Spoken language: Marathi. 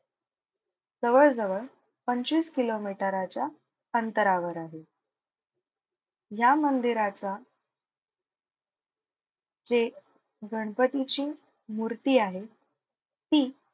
जवळजवळ पंचवीस किलोमीटराच्या अंतरावर आहे. या मंदिराचा जे गणपतीची मूर्ती आहे ती,